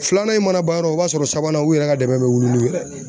Filanan in mana ban yɔrɔ o b'a sɔrɔ sabanan u yɛrɛ ka dɛmɛ bɛ wuli n'u yɛrɛ ye.